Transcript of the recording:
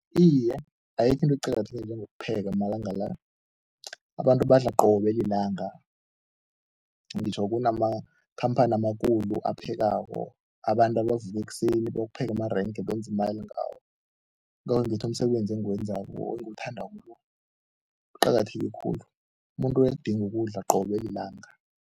Iye, ayikho into eqakatheke njengokupheka amalanga la. Abantu badla qobe lilanga, ngitjho kunamakhamphani amakhulu aphekako, abantu abavuka ekuseni, bokupheka amarenke, benze imali ngawo, yingakho ngithi umsebenzi engiwenzako engiwuthanda lo uqakatheke khulu. Umuntu uyakudinga ukudla qobe lilanga.